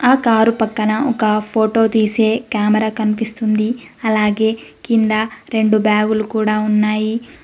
ఆ కారు పక్కన ఒక ఫోటో తీసే కెమెరా కనిపిస్తుంది అలాగే కింద రెండు బ్యాగులు కూడా ఉన్నాయి.